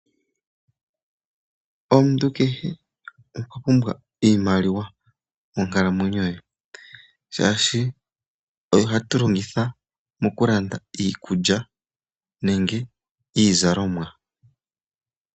Omuntu kehe okwa pumbwa iimaliwa monkalamwenyo ye, molwaashoka oyo hatu longitha okulanda iikulya nenge iizalomwa.